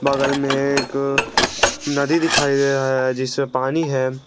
बगल में एक नदी दिखाई दे रहा है जिससे पानी है।